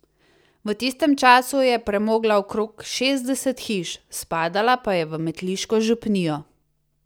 V tistem času je premogla okrog šestdeset hiš, spadala pa je v metliško župnijo.